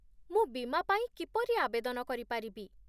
ମୁଁ ବୀମା ପାଇଁ କିପରି ଆବେଦନ କରିପାରିବି?